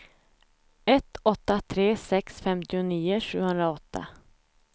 ett åtta tre sex femtionio sjuhundraåtta